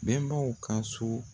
Bɛnbaw ka so